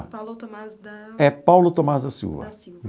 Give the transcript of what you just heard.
Paulo Thomaz da... É Paulo Thomaz da Silva. Da Silva.